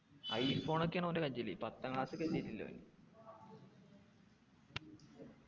i phone ഒക്കെയാണ് ഓൻ്റെ കയ്യില് പത്താം class ലേക്കെത്തിട്ടില്ല ഓൻ